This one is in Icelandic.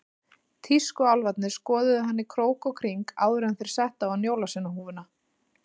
Tískuálfarnir skoðuðu hann í krók og kring áður en þeir settu á hann jólasveinahúfuna.